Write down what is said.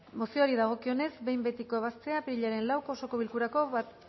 mozioari dagokionez behin betiko ebaztea apirilaren lauko osoko bilkurako